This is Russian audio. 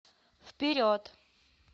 вперед